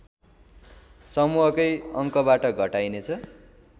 समूहकै अङ्कबाट घटाइनेछ